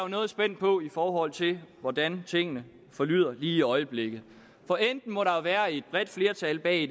noget spændt på i forhold til hvordan tingene forlyder lige i øjeblikket for enten må der nu være et bredt flertal bag